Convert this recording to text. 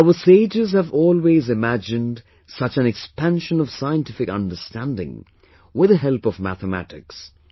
Our sages have always imagined such an expansion of scientific understanding with the help of mathematics